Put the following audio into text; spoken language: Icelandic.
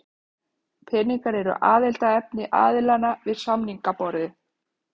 Peningar eru aðaldeiluefni aðilanna við samningaborðið